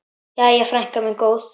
Jæja, frænka mín góð.